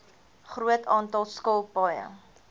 groot aantal skilpaaie